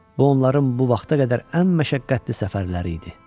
Bu onların bu vaxta qədər ən məşəqqətli səfərləri idi.